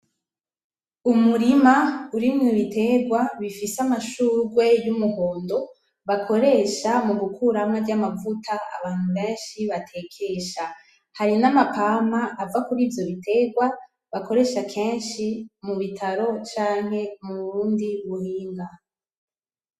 Umurima urimwo ibiterwa bifise amashurwe y'umuhondo bakoresha mu gukuramwo arya mavuta abantu benshi batekesha. Hari n'amapampa ava kurivyo biterwa bakoresha kenshi mu bitaro canke mubundi buhinga.